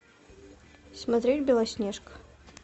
смотреть белоснежка